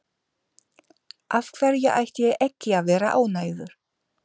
Af hverju ætti ég ekki að vera ánægður?